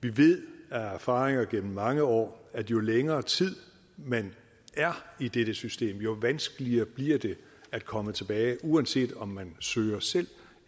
vi ved af erfaringer gennem mange år at jo længere tid man er i dette system jo vanskeligere bliver det at komme tilbage uanset om man søger selv